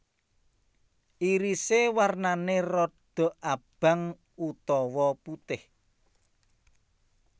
Irise warnane rodok abang utawa putih